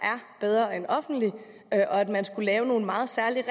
bedre end offentlig og at man skulle lave nogle meget særlige